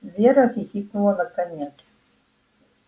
вера хихикнула наконец